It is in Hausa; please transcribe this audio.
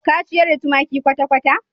Ka ciyar da tumaki kwata-kwata?